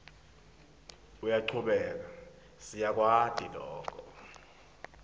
uyachubeka siyakwati loku